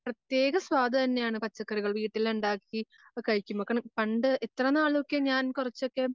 പ്രത്യേക സ്വാദ് തന്നെയാണ് പച്ചക്കറികൾ വീട്ടിലുണ്ടാക്കി കഴിക്കുമ്പം പണ്ട് ഇത്രനാളോക്കെ ഞാൻ കൊറച്ചോക്കെ